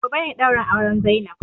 Gobe ne ɗaurin auren zainab